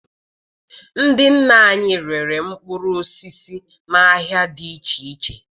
Ndị nna anyị rere mkpụrụ osisi n'ahịa dị iche iche